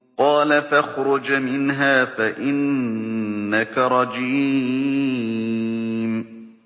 قَالَ فَاخْرُجْ مِنْهَا فَإِنَّكَ رَجِيمٌ